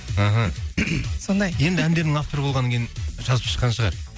аха сондай енді әндерінің авторы болғаннан кейін жазып шыққан шығар